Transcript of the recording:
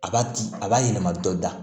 A b'a di a b'a yɛlɛma dɔ da